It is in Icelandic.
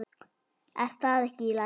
Er það ekki í lagi?